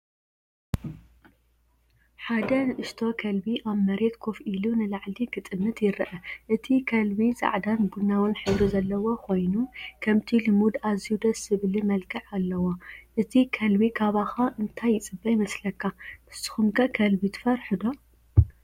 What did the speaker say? ሓደ ንእሽቶ ከልቢ ኣብ መሬት ኮፍ ኢሉ ንላዕሊ ክጥምት ይርአ። እቲ ከልቢ ጻዕዳን ቡናውን ሕብሪ ዘለዎ ኮይኑ፡ ከምቲ ልሙድ ኣዝዩ ደስ ዝብልን መልክዕ ኣለዎ። እቲ ከልቢ ካባኻ እንታይ ይጽበ ይመስለካ? ንስኩም ከ ከልቢ ትፍርሑ ዶ?